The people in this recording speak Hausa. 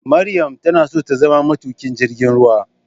Maryam tanaso tazama metukin jirgin ruwa.